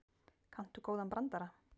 Kanntu góðan brandara?